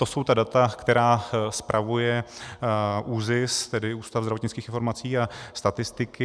To jsou ta data, která spravuje ÚZIS, tedy Ústav zdravotnických informací a statistiky.